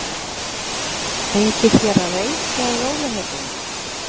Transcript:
Fengið þér að reykja í rólegheitunum?